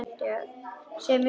Segja mér hvað?